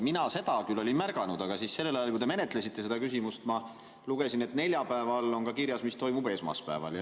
Mina olin seda küll märganud, aga sellel ajal, kui te menetlesite seda küsimust, ma lugesin, et neljapäeval on ka kirjas, mis toimub esmaspäeval.